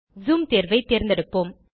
zoom தேர்வை தேர்ந்தெடுப்போம்